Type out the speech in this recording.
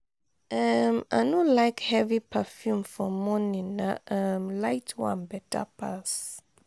um i no like heavy perfume for morning na um light one beta pass.